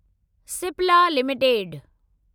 Cipla limited